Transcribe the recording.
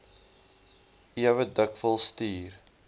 ewe dikwels stuur